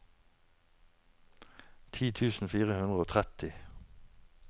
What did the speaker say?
ti tusen fire hundre og tretti